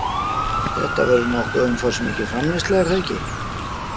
Þetta verður nokkuð umfangsmikil framleiðsla, er það ekki?